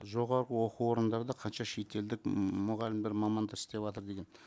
жоғарғы оқу орындарда қанша шетелдік мұғалімдер мамандық істеватыр деген